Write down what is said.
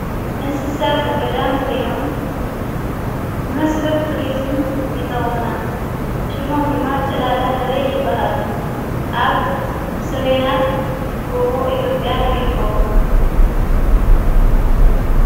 እንስሳ ዘገዳም ኮይኖም ንምስሕብ ቱርዝም ይጠቕሙና ሹሞም ድማ ጨላዳ ሕበይ ይበሃሉ ኣብ ሰሜናት ጐቦ ኢቴጴያ ይርከቡ ::